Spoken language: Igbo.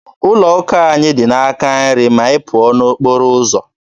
Ụlọ ụka anyị dị n'aka nri gị ma ị pụọ n'okporo ụzọ.